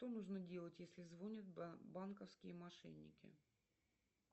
что нужно делать если звонят банковские мошенники